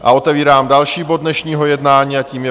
A otevírám další bod dnešního jednání a tím je